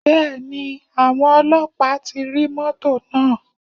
Bẹ́ẹ̀ni, àwọn Ọlọ́pàá ti rí mọ́tọ̀ náà.